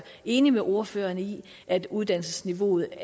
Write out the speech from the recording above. enig med ordføreren i at uddannelsesniveauet